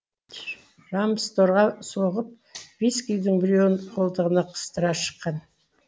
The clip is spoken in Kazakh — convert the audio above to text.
рамсторға соғып вискидің біреуін қолтығына қыстыра шыққан